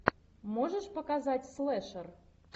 можешь показать слэшер